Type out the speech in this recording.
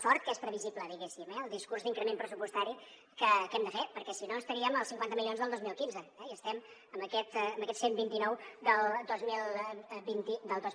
sort que és previsible diguéssim eh el discurs d’increment pressupostari que hem de fer perquè si no estaríem als cinquanta milions del dos mil quinze i estem en aquests cent i vint nou del dos mil vint dos